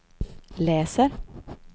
läser